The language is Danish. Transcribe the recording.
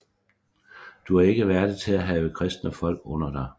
Du er ikke værdig til at have kristne folk under dig